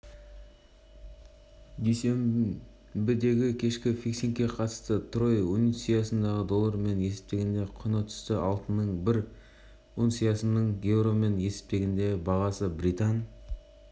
дүйсенбідегікешкі фиксингке қатысты трой унциясының доллармен есептегендегі құны түсті алтынның бір унциясының еуромен есептегендегі бағасы британ